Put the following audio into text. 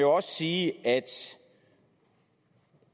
også sige at